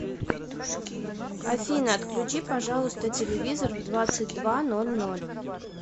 афина отключи пожалуйста телевизор в двадцать два ноль ноль